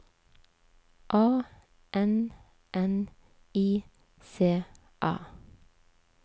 A N N I C A